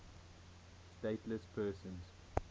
stateless persons